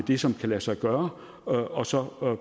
det som kan lade sig gøre og så